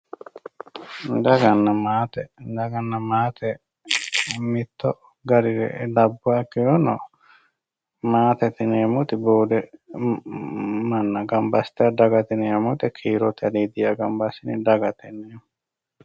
daganna maate daganna maate mittu garire labbuha ikkirono maatete yineemmori boode manna gamba assitanno kiirote aliidiha dagate yineemmo